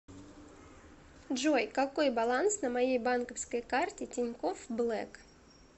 джой какой баланс на моей банковской карте тинькофф блэк